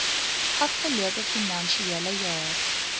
afgelope finansiële jaar